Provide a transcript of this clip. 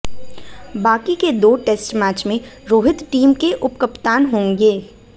बाकी के दो टेस्ट मैच में रोहित टीम के उपकप्तान होंगे